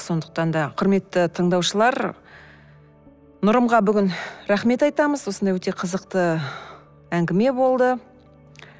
сондықтан да құрметті тыңдаушылар нұрымға бүгін рахмет айтамыз осындай өте қызықты әңгіме болды